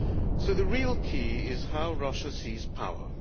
So the real key is how Russia sees power.